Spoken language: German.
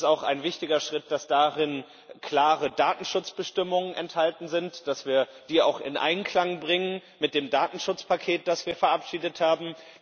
Es ist auch ein wichtiger Schritt, dass darin klare Datenschutzbestimmungen enthalten sind, dass wir die auch in Einklang bringen mit dem Datenschutzpaket, das wir verabschiedet haben.